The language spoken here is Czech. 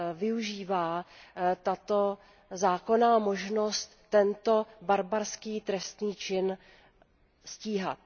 využívá ta zákonná možnost tento barbarský trestný čin stíhat.